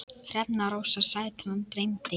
Hrefna Rósa Sætran dæmdi.